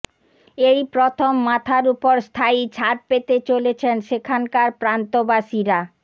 এই প্রথম মাথার ওপর স্থায়ী ছাদ পেতে চলেছেন সেখানকার প্রান্তবাসীরা